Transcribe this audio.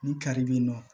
Ni kari bɛ yen nɔ